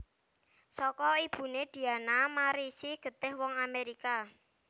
Saka ibuné Diana marisi getih wong Amérika